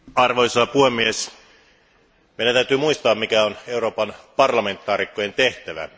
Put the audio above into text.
Arvoisa puhemies, meidän täytyy muistaa, mikä on Euroopan parlamentin jäsenten tehtävä.